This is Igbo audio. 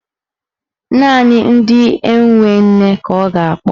Naanị ndị enwe nne ka a ga-akpọ.